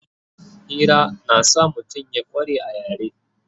Hira na sa mutum ya kware a yare